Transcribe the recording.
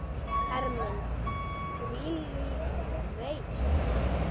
Ermin: þvílík reisn!